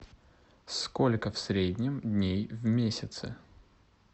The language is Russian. сколько в среднем дней в месяце